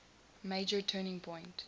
major turning point